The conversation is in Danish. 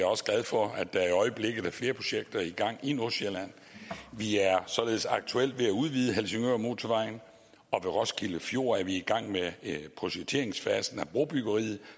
også glad for at der i øjeblikket er flere projekter i gang i nordsjælland vi er således aktuelt ved at udvide helsingørmotorvejen og ved roskilde fjord er vi i gang med projekteringsfasen af brobyggeriet